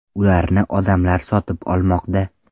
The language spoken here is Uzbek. Ularni odamlar sotib olmoqda.